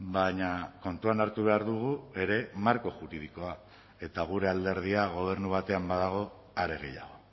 baina kontuan hartu behar dugu ere marko juridikoa eta gure alderdia gobernu batean badago are gehiago